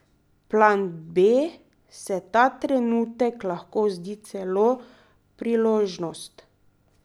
Plan B se ta trenutek lahko zdi celo priložnost.